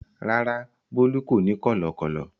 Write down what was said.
Rárá, Bólú kò ní kọ̀lọ̀kọ́lọ̀.